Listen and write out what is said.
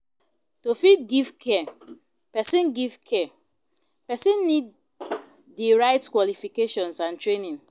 To fit give care, persin give care, persin need di right qualifications and training